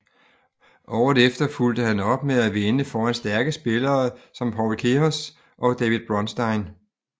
Året efter fulgte han op med at vinde foran stærke spillere som Paul Keres og David Bronstein